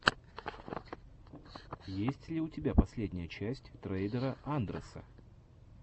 есть ли у тебя последняя часть трейдера андрэса